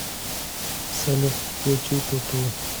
салют включи туту